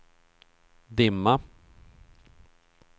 dimma